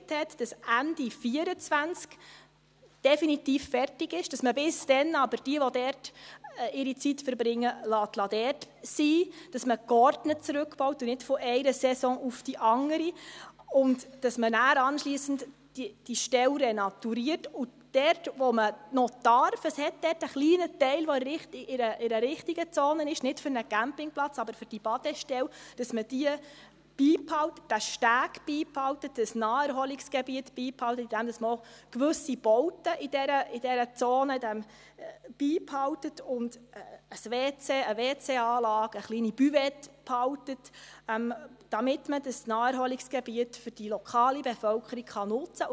Man einigte sich, dass Ende 2024 definitiv fertig ist, dass man aber bis dahin diejenigen, die ihre Zeit dort verbringen, dort sein lässt, dass man geordnet zurückbaut und nicht von einer Saison auf die andere, dass man diese Stelle anschliessend renaturiert und dass man das, was man darf – es hat dort einen kleinen Teil, der in einer richtigen Zone ist, nicht für einen Campingplatz, aber für die Badestelle –, beibehält, dass man diesen Steg und das Naherholungsgebiet beibehält, indem man auch gewisse Bauten in dieser Zone beibehält – eine WC-Anlage und eine kleine Buvette –, damit man das Naherholungsgebiet für die lokale Bevölkerung nutzen kann.